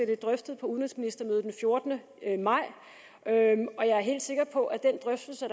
det drøftet på udenrigsministermødet den fjortende maj og jeg er helt sikker på at den drøftelse